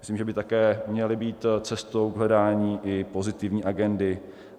Myslím, že by také měly být cestou k hledání i pozitivní agendy.